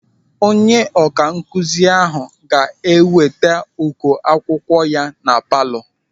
Onye ọkankụzi ahụ ga-eweta uko akwụkwọ ya na palọ.